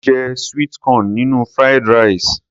Mo je sweet corn nínú Fried rice.